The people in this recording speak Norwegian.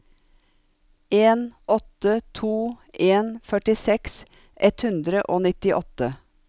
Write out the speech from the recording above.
en åtte to en førtiseks ett hundre og nittiåtte